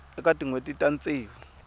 eka tin hweti ta ntsevu